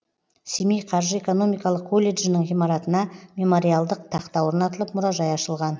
семей қаржы экономикалық колледжінің ғимаратына мемориалдық тақта орнатылып мұражай ашылған